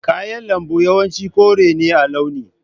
Kayan lambu yawanci kore ne a launi.